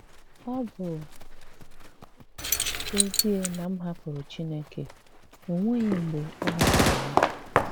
Ọ bụ́ ezie na m hàpụ̀rụ̀ Chineke, ọ nweghị̀ mgbe ọ hàpụ̀rụ̀ ya.